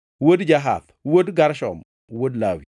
wuod Jahath, wuod Gershon, wuod Lawi;